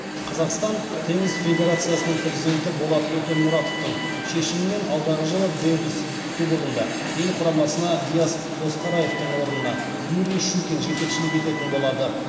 қазақстан теннис федерациясының президенті болат өтемұратовтың шешімімен алдағы жылы дэвис кубогында ел құрамасына диас досқараевтың орнына юрий щукин жетекшілік ететін болады